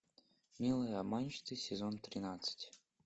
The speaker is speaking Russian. милые обманщицы сезон тринадцать